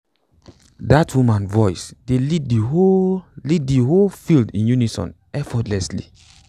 dat woman voice dey lead de whole lead de whole field in unison effortlessly